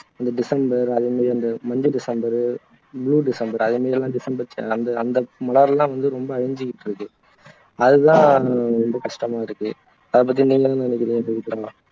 இந்த டிசெம்பர் அதே மாதிரி அந்த மஞ்ச டிசெம்பர் blue டிசெம்பர் அதே மாதிரி எல்லாம் டிசெம்பர் அந்த அந்த மலர் எல்லாம் ரொம்ப அழிஞ்சுக்கிட்டு இருக்கு அது தான் ரொம்ப கஷ்டமா இருக்கு அதை பத்தி நீங்க என்ன நினைக்குறீங்க பவித்ரா